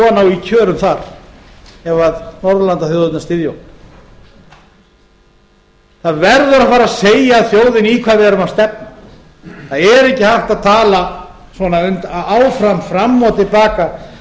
á í kjörum þar ef norðurlandaþjóðirnar styðja okkur það verður að fara að segja þjóðinni í hvað við erum að stefna það er ekki hægt að tala svona áfram fram og til baka